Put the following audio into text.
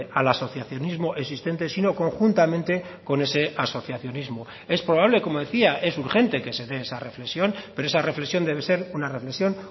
al asociacionismo existente sino conjuntamente con ese asociacionismo es probable como decía es urgente que se dé esa reflexión pero esa reflexión debe ser una reflexión